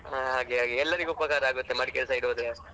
ಹಾಗೆ ಹಾಗೆ ಎಲ್ಲರಿಗೆ ಉಪಕಾರ ಆಗ್ತದೆ ಮಡಿಕೇರಿ side ಹೋದ್ರೆ.